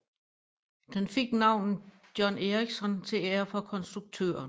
Den fik navnet John Ericsson til ære for konstruktøren